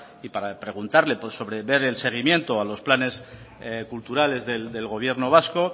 y para preguntarle sobre ver el seguimiento a los planes culturales del gobierno vasco